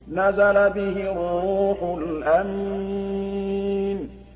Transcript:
نَزَلَ بِهِ الرُّوحُ الْأَمِينُ